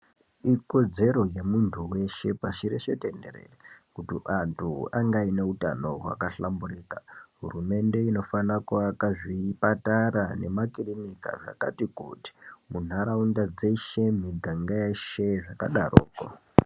Ikodzero dze muntu weshe pashi reshe tenherere kuti antu ange aine utano hwaka hlamburika hurumende inofana ku aka zvipatara ne makirinika zvakati kuti mu nharaunda dzeshe miganga yeshe zvaka daroko.